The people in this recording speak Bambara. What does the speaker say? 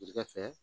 Ji ga fɛ